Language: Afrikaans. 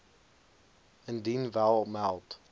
indien wel meld